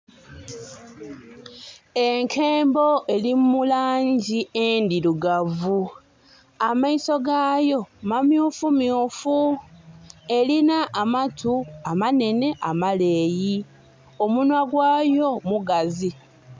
Enkembo eli mu langi endhirugavu. Amaiso gaayo mamyufu myufu. Elina amatu, amanhenhe, amaleeyi. Omunhwa gwaayo mugazi.